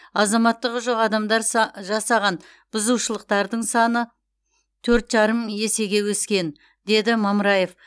азаматтығы жоқ адамдар са жасаған бұзушылықтардың саны төрт жарым есеге өскен деді мамыраев